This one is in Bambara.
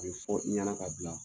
A bɛ fɔ i ɲɛna ka bila